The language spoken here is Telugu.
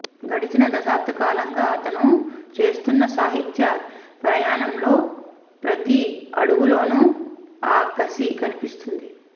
గడిచిన దశాబ్ద కాలంగా అతను చేస్తున్న సాహిత్య ప్రయాణంలో ప్రతి అడుగులోనూ ఆ కషి కనిపిస్తుంది